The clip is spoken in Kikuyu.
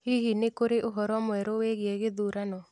Hihi nĩ kũrĩ ũhoro mwerũ wĩgiĩ gĩthurano